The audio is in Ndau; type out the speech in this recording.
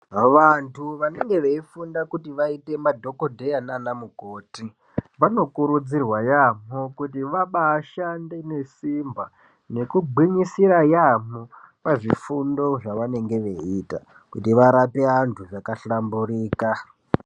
Vantu vanenge veifunda kuti vaite madhokodheya naanamukoti, vanokurudzirwa yaamho kuti vabaashande nesimba, nekungwinyisira yaamho, pazvifundo zvavanenge veiita, kuti varape vantu zvakahlamburika.